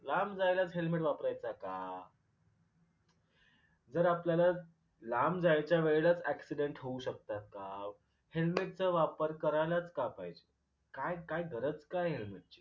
लांब जायलाच helmet वापरायाचा का? जर आपल्याला लांब जायच्या वेळेलाच accident होऊ शकतात का? helmet वापर करायलाच का पाहिजे? काय काय गरज काय आहे helmet ची?